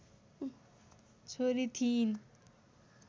छोरी थिइन्